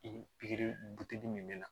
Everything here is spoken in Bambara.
Pikiri min bɛ na